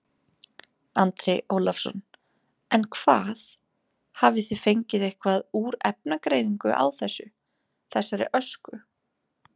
Andri Ólafsson: En hvað, hafið þið fengið eitthvað úr efnagreiningu á þessu, þessari ösku?